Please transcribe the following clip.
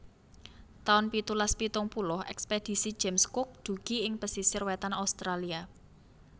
taun pitulas pitung puluh Ekspedisi James Cook dugi ing pesisir wétan Australia